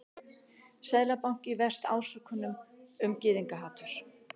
Seðlabanki verst ásökunum um gyðingahatur